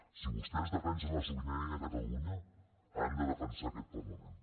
si vostès defensen la sobirania de catalunya han de defensar aquest parlament